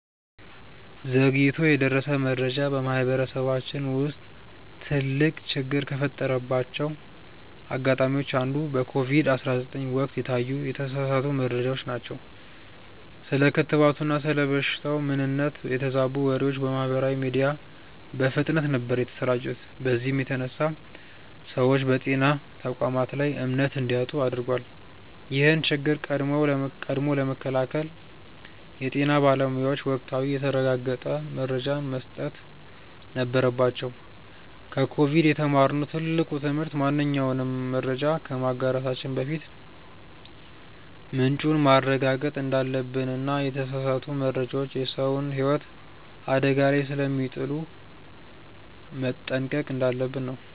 ዘግይቶ የደረሰ መረጃ በማህበረሰባችን ውስጥ ትልቅ ችግር ከፈጠረባቸው አጋጣሚዎች አንዱ በኮቪድ 19 ወቅት የታዩ የተሳሳቱ መረጃዎች ናቸው። ስለ ክትባቱና ስለ በሽታው ምንነት የተዛቡ ወሬዎች በማህበራዊ ሚዲያ በፍጥነት ነበር የተሰራጩት በዚህም የተነሳ ሰዎች በጤና ተቋማት ላይ እምነት እንዲያጡ አድርጓል። ይህን ችግር ቀድሞ ለመከላከል የጤና ባለሙያዎች ወቅታዊና የተረጋገጠ መረጃን መስጠት ነበረባቸው። ከኮቪድ የተማርነው ትልቁ ትምህርት ማንኛውንም መረጃ ከማጋራታችን በፊት ምንጩን ማረጋገጥ እንዳለብንና የተሳሳቱ መረጃዎች የሰውን ህይወት አደጋ ላይ ስለሚጥሉ መጠንቀቅ እንዳለብን ነው።